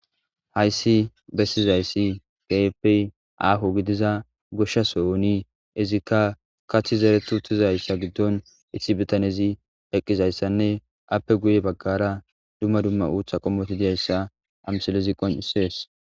hayssi bessizayssi gayeppey aaho gidiza goshshasooni izikka kathi zeretu tizayssa giddon ithibitanezi eqqizayssanne appe guye baggara dumma dumma uutha qommoti diyayssa amsalezi qoncisees